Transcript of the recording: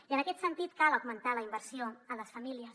i en aquest sentit cal augmentar la inversió a les famílies